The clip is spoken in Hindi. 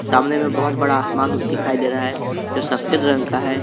सामने में बहोत बड़ा आसमान दिखाई दे रहा है जो सफेद रंग का है।